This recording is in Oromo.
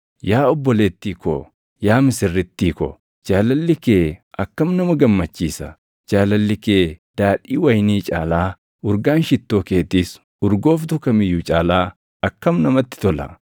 Yaa obboleettii ko, yaa misirrittii ko, // jaalalli kee akkam nama gammachiisa! Jaalalli kee daadhii wayinii caalaa, urgaan shittoo keetiis urgooftuu kam iyyuu caalaa akkam namatti tola!